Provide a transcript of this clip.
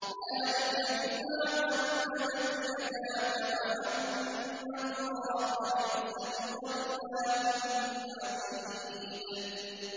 ذَٰلِكَ بِمَا قَدَّمَتْ يَدَاكَ وَأَنَّ اللَّهَ لَيْسَ بِظَلَّامٍ لِّلْعَبِيدِ